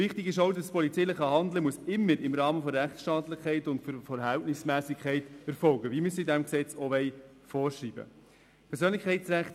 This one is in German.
Wichtig ist auch, dass das polizeiliche Handeln immer im Rahmen der Rechtsstaatlichkeit und der Verhältnismässigkeit erfolgen muss, wie wir es in diesem Gesetz vorschreiben wollen.